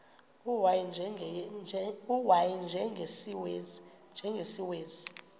u y njengesiwezi